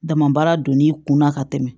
Dama baara don n'i kunna ka tɛmɛ